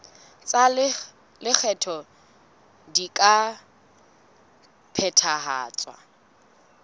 tsa lekgetho di ka phethahatswa